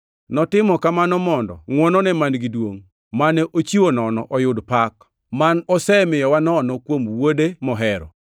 Notimo kamano mondo ngʼwonone man-gi duongʼ mane ochiwo nono oyud pak, ma osemiyowa nono kuom Wuode mohero.